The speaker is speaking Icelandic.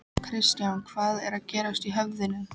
Kristján: Hvað er að gerast í höfðinu?